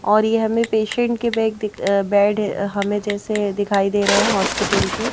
और ये हमें पेशेंट के बैग बेड हमें जैसे दिखाई दे रहे हैं हॉस्पिटल के।